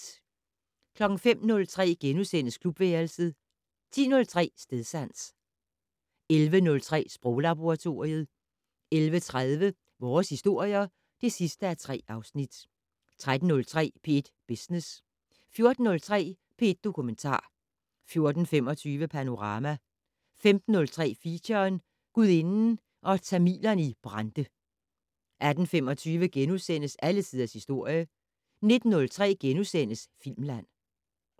05:03: Klubværelset * 10:03: Stedsans 11:03: Sproglaboratoriet 11:30: Vores historier (3:3) 13:03: P1 Business 14:03: P1 Dokumentar 14:45: Panorama 15:03: Feature: Gudinden og tamilerne i Brande 18:25: Alle tiders historie * 19:03: Filmland *